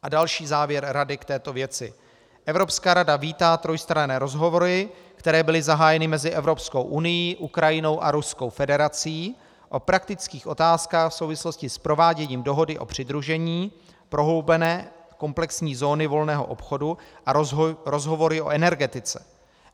A další závěr Rady k této věci: Evropská rada vítá trojstranné rozhovory, které byly zahájeny mezi Evropskou unií, Ukrajinou a Ruskou federací o praktických otázkách v souvislosti s prováděním dohody o přidružení, prohloubené komplexní zóny volného obchodu a rozhovory o energetice.